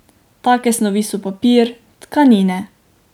Take snovi so papir, tkanine ...